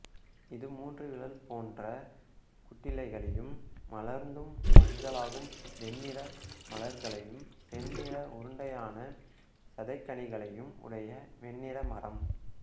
இது மூன்று விரல் போன்ற கூட்டிலைகளையும் மலர்ந்ததும் மஞ்சளாகும் வெண்ணிற மலர்களையும் செந்நிற உருண்டையான சதைக்கனிகளையும் உடைய வெண்ணிற மரம்